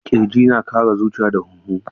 Kirji yana kare zuciya da huhu.